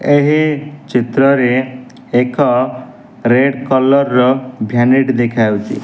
ଏହି ଚିତ୍ରରେ ଏକ ରେଡ୍ କଲର୍ ର ଭାନିଟି ଦେଖାଯାଉଚି।